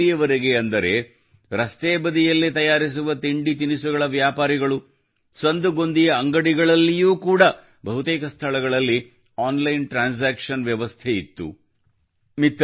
ಎಲ್ಲಿಯವರೆಗೆ ಅಂದರೆ ರಸ್ತೆ ಬದಿಯಲ್ಲಿ ತಯಾರಿಸುವ ತಿಂಡಿತಿನಿಸುಗಳು ಸಂದುಗೊಂದಿಯ ಅಂಗಡಿಗಳಲ್ಲಿಯೂ ಕೂಡ ಬಹುತೇಕ ಸ್ಥಳಗಳಲ್ಲಿ ಆನ್ಲೈನ್ ಟ್ರಾನ್ಸಾಕ್ಷನ್ ಆನ್ಲೈನ್ ಟ್ರಾಂಜೆಕ್ಷನ್ ವ್ಯವಸ್ಥೆ ಇತ್ತು